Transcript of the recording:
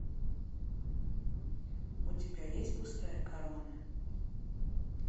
у тебя есть пустая корона